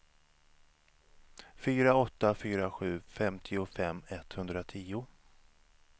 fyra åtta fyra sju femtiofem etthundratio